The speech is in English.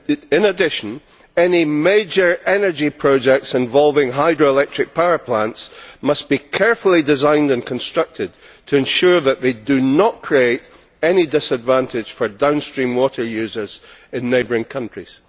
In addition, any major energy projects involving hydroelectric power plants must be carefully designed and constructed to ensure that they do not create any disadvantage for downstream water users in neighbouring countries.